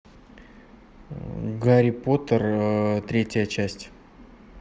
гарри поттер третья часть